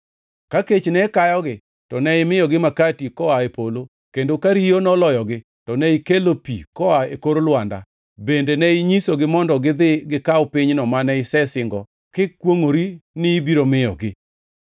Ka kech ne kayogi to ne imiyogi makati koa e polo kendo ka riyo noloyogi to ne ikelo pi koa e kor lwanda; bende ne inyisogi mondo gidhi gikaw pinyno mane isesingo kikwongʼori ni ibiro miyogi.